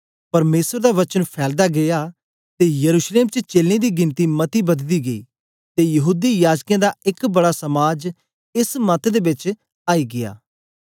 परमेसर दा वचन फैलदा गीया ते यरूशलेम च चेलें दी गिनती मती बददी गेई ते यहूदी याजकें दा एक बड़ा समाज एस मत दे बेच आई गीया